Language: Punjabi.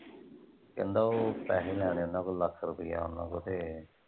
ਕਹਿੰਦਾ ਓਹ ਪੈਸੇ ਲੈਣੇ ਓਹਨਾਂ ਕੋਲੋਂ ਲੱਖ ਰੁਪਈਆ ਓਹਨਾਂ ਕੋਲੋਂ ਤੇ।